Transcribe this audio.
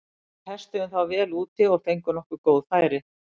Við testuðum þá vel úti og fengum nokkur góð færi.